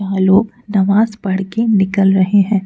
वहां लोग नमाज पढ़ के निकल रहे हैं।